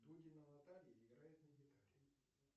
дудина наталья играет на гитаре